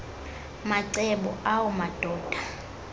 macebo awu madoda